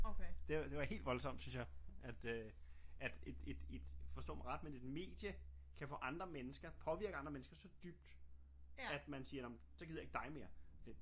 Det det var helt voldsomt synes jeg at øh at et et et forstå mig ret men et medie kan få andre mennesker påvirker andre mennesker så dybt at man siger nårh men så gider jeg ikke dig mere